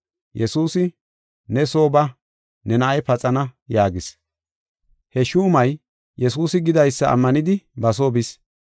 Yesuusi, “Ne soo ba; ne na7ay paxana” yaagis. He shuumay Yesuusi gidaysa ammanidi ba soo bis.